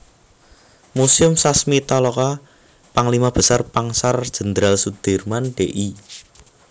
Muséum Sasmitaloka Panglima Besar Pangsar Jenderal Sudirman Dl